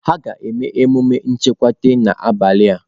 Ha ga-eme emume nchekwute n'abalị a